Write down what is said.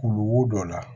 Kulukoro dɔ la